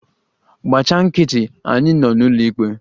Gbachi nkịtị! Anyị nọ n'ụlọikpe.